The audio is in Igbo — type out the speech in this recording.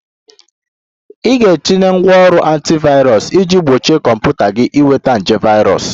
Ị ga-etinye ngwanrọ antivirus iji gbochie kọmputa gị ịnweta nje virus